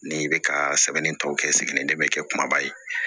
N'i bɛ ka sɛbɛnni tɔ kɛ n sigilen tɛ bɛ kɛ kumaba ye